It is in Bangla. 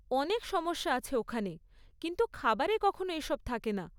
অনেক সমস্যা আছে ওখানে, কিন্তু খাবারে কখনও এসব থাকে না।